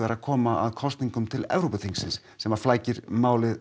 að koma að kosningum til Evrópuþingsins sem flækir málið